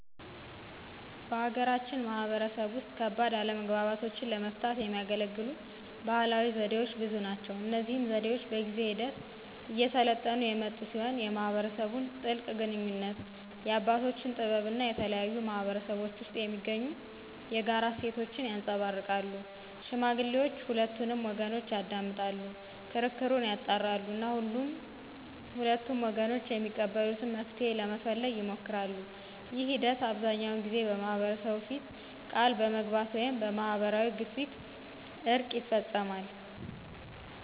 በሀገራችን ማህበረሰብ ውስጥ ከባድ አለመግባባቶችን ለመፍታት የሚያገለግሉ ባህላዊ ዘዴዎች ብዙ ናቸው። እነዚህ ዘዴዎች በጊዜ ሂደት እየሰለጠኑ የመጡ ሲሆን የማህበረሰቡን ጥልቅ ግንኙነት፣ የአባቶችን ጥበብ እና የተለያዩ ማህበረሰቦች ውስጥ የሚገኙ የጋራ እሴቶችን ያንፀባርቃሉ። ሽማግሌዎች ሁለቱንም ወገኖች ያዳምጣሉ፣ ክርክሩን ያጣራሉ እና ሁለቱም ወገኖች የሚቀበሉትን መፍትሄ ለመፈለግ ይሞክራሉ። ይህ ሂደት አብዛኛውን ጊዜ በማህበረሰቡ ፊት ቃል በመግባት ወይም በማህበራዊ ግፊት እርቅ ይፈፀማል።